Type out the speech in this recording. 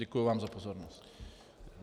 Děkuji vám za pozornost.